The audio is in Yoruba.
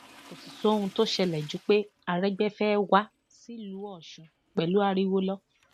kò sì sóhun tó ṣẹlẹ ju pé aregbe fẹẹ wá sílùú ọṣun pẹlú ariwo lọ